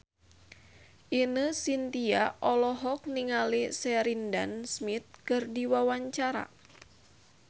Ine Shintya olohok ningali Sheridan Smith keur diwawancara